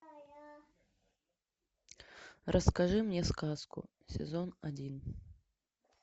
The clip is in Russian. расскажи мне сказку сезон один